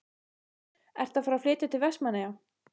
Ertu að fara að flytja til Vestmannaeyja?